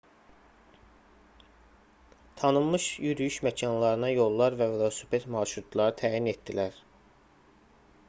tanınmış yürüyüş məkanlarına yollar və velosiped marşrutları təyin etdilər